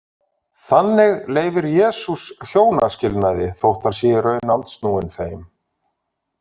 Þannig leyfir Jesús hjónaskilnaði þótt hann sé í raun andsnúinn þeim.